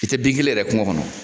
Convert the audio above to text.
I tɛ degelen yɛrɛ kungo kɔnɔ.